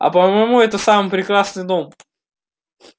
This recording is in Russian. а по-моему это самый прекрасный дом